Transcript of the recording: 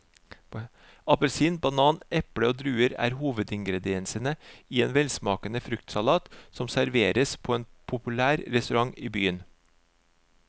Appelsin, banan, eple og druer er hovedingredienser i en velsmakende fruktsalat som serveres på en populær restaurant i byen.